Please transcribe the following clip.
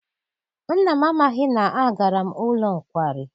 Nna m amaghị na agara m n'ụlọ nkwari.